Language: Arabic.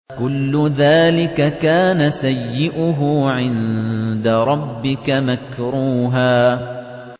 كُلُّ ذَٰلِكَ كَانَ سَيِّئُهُ عِندَ رَبِّكَ مَكْرُوهًا